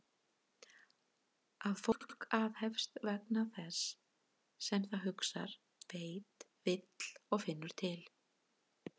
Að fólk aðhefst vegna þess sem það hugsar, veit, vill og finnur til?